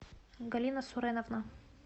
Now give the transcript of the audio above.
галина суреновна